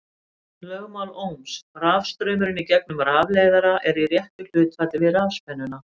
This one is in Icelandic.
Lögmál Ohms: Rafstraumurinn í gegnum rafleiðara er í réttu hlutfalli við rafspennuna.